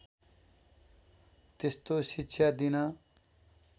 त्यस्तो शिक्षा दिन